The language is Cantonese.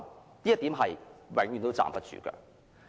這一點永遠也站不住腳。